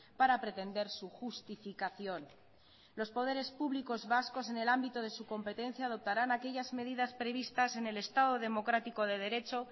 para pretender su justificación los poderes públicos vascos en el ámbito de su competencia adoptarán aquellas medidas previstas en el estado democrático de derecho